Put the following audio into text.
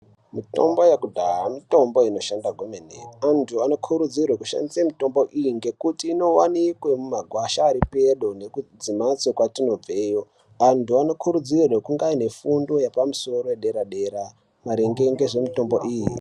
Mutombo yekudhaya mitombo inoshanda kwemene. Antu anokurudzirwa kushandisa mitombo iyi ngekuti inowanikwa mumagwasha ari pedo nekumhatso kwatinobveyo. Antu anokurudzirwa kunga aine fundo yepamusoro dera dera maringe ngezvemitombo iyi.